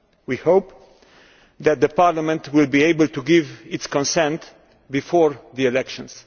We hope Parliament will be able to give its consent before the elections.